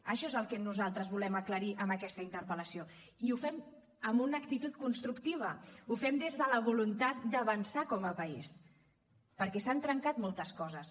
això és el que nosaltres volem aclarir amb aquesta interpel·lació i ho fem amb una actitud constructiva ho fem des de la voluntat d’avançar com a país perquè s’han trencat moltes coses